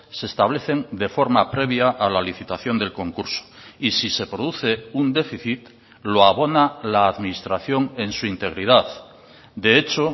se establecen de forma previa a la licitación del concurso y si se produce un déficit lo abona la administración en su integridad de hecho